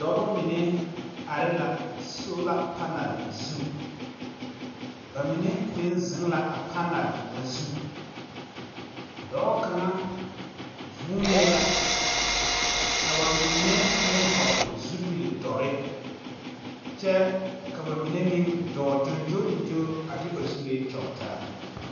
Dɔbɔ mine are la sola-panɛl zu, ba mine meŋ zeŋ la a panɛl ŋa zu. Dɔɔ kaŋa vuunee la, ka ba mine meŋ vɔgele zupildɔrre, kyɛ ka ba mine meŋ dɔɔ gyongyooligyoo a de ba zuree kyɔge taa.